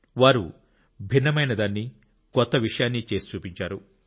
వారు భిన్నమైన దాన్ని కొత్త విషయాన్ని చేసి చూపించారు